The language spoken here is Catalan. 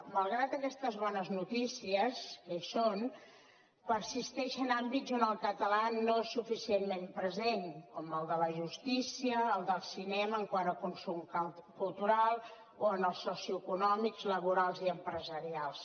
malgrat aquestes bones notícies que hi són persisteixen àmbits on el català no és suficientment present com el de la justícia el del cinema quant a consum cultural o en els socioeconòmics laborals i empresarials